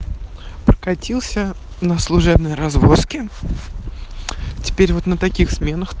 прокатился на служебной развозке теперь вот на таких сменах